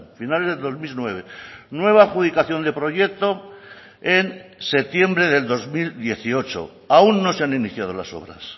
finales del dos mil nueve nueva adjudicación de proyecto en septiembre del dos mil dieciocho aún no se han iniciado las obras